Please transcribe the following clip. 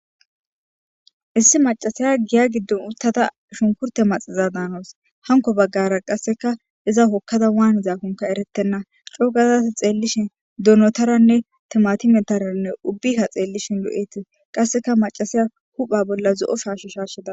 issi macasaya giya giddon uttada shunkurte maxiza daanawus, hanko baggara qasseka iza hokkada waanzaakonka eretenna cogada ta xeellishin donotaranne timatimetaranne ubbika xeellishin lo'etes, qasseka macasiya hupha bolla zo'o shaash shashida